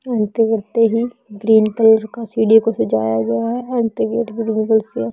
entry करते ही green colour का सीढ़ियों को सजाया गया है एंट्री गेटिं से--